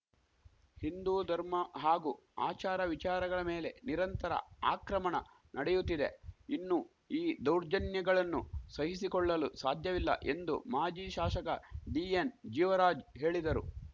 ಹಿಂದೂ ಧರ್ಮ ಹಾಗೂ ಆಚಾರ ವಿಚಾರಗಳ ಮೇಲೆ ನಿರಂತರ ಅಕ್ರಮಣ ನಡೆಯುತ್ತಿದೆ ಇನ್ನೂ ಈ ದೌರ್ಜನ್ಯಗಳನ್ನು ಸಹಿಸಿಕೊಳ್ಳಲು ಸಾಧ್ಯವಿಲ್ಲ ಎಂದು ಮಾಜಿ ಶಾಶಕ ಡಿಎನ್‌ ಜೀವರಾಜ್‌ ಹೇಳಿದರು